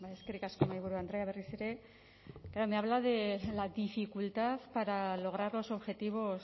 eskerrik asko mahaiburu andrea berriz ere me habla de la dificultad para lograr los objetivos